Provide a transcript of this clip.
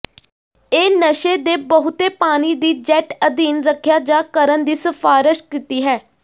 ਇਹ ਨਸ਼ੇ ਦੇ ਬਹੁਤੇ ਪਾਣੀ ਦੀ ਜੈੱਟ ਅਧੀਨ ਰੱਖਿਆ ਜਾ ਕਰਨ ਦੀ ਸਿਫਾਰਸ਼ ਕੀਤੀ ਹੈ